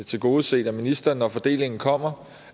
tilgodeset af ministeren når fordelingen kommer